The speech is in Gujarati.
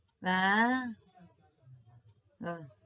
ના આહ